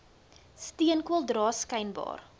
steenkool dra skynbaar